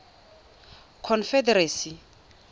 confederacy